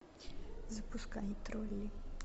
запускай тролли